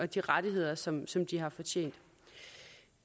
de rettigheder som som de har fortjent